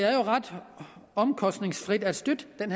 ret omkostningsfrit at støtte den